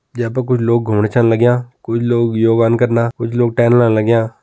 यै पर कुछ लोग घुमणा छन लाग्यां कोई लोग योगान करना कुछ लोग टहलना लाग्यां।